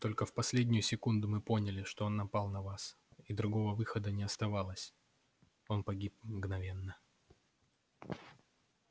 только в последнюю секунду мы поняли что он напал на вас и другого выхода не оставалось он погиб мгновенно